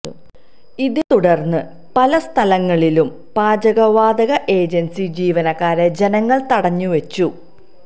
ഇതേ തുടര്ന്ന് പല സ്ഥലങ്ങളിലും പാചകവാതക ഏജന്സി ജീവനക്കാരെ ജനങ്ങള് തടഞ്ഞുവച്ചു